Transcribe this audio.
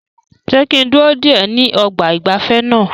Ṣé kí n dúró dè ẹ́ ní ọgbà ìgbafẹ́ náà?